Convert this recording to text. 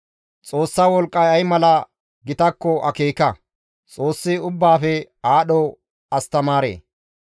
«Xoossa wolqqay ay mala gitakko akeeka; Xoossi ubbaafe aadho astamaare.